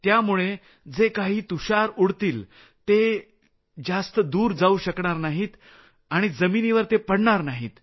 त्यामुळे जे काही तुषार उडतील ते जास्त दूर जाऊ शकणार नाहीत आणि जमिनीवर ते पडणार नाहीत